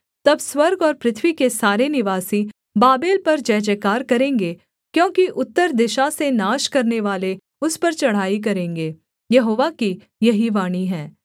तब स्वर्ग और पृथ्वी के सारे निवासी बाबेल पर जयजयकार करेंगे क्योंकि उत्तर दिशा से नाश करनेवाले उस पर चढ़ाई करेंगे यहोवा की यही वाणी है